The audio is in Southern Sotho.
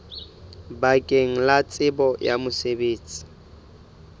bakeng la tsebo ya mosebetsi